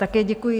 Také děkuji.